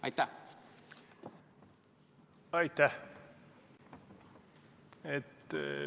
Aitäh!